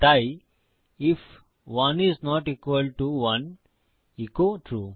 তাই if 1 is not equal to 1 echo true